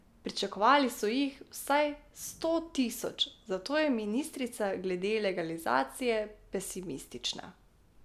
Pričakovali so jih vsaj sto tisoč, zato je ministrica glede legalizacije pesimistična.